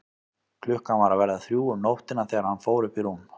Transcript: Klukkan var að verða þrjú um nóttina þegar hann fór upp í rúm.